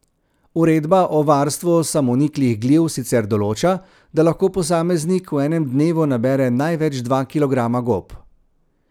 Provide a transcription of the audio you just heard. Uredba o varstvu samoniklih gliv sicer določa, da lahko posameznik v enem dnevu nabere največ dva kilograma gob.